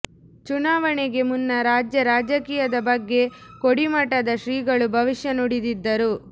ಚುನಾವಣೆಗೆ ಮುನ್ನ ರಾಜ್ಯ ರಾಜಕೀಯದ ಬಗ್ಗೆ ಕೋಡಿಮಠದ ಶ್ರೀಗಳು ಭವಿಷ್ಯ ನುಡಿದಿದ್ದರು